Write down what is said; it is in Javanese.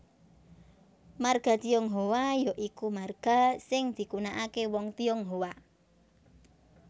Marga Tionghoa ya iku marga sing digunakaké wong Tionghoa